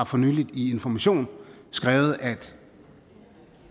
for nylig i information skrevet at